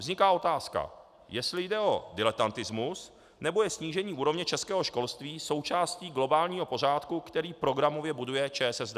Vzniká otázka, jestli jde o diletantismus, nebo je snížení úrovně českého školství součástí globálního pořádku, který programově buduje ČSSD.